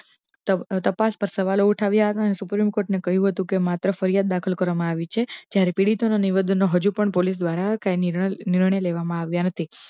તપાસ પર સવાલ ઉઠાવ્યા અને supreme court કહ્યો હતો કે માત્ર ફરિયાદ દાખલ કરવામા આવી છે જ્યારે હ્જુ પણ પોલીસ દ્વારા કઈ નિર્ણય લેવામા આવ્યા નથી